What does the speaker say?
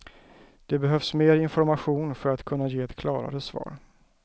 Det behövs mer information för att kunna ge ett klarare svar.